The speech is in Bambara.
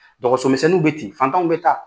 Dɔgɔso misɛnninw bɛ ten fantanw bɛ taa.